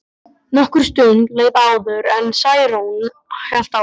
Nokkur stund leið áður en Særún hélt áfram.